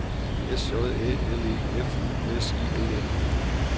S J Æ L E F U S I O N